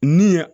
Ni ye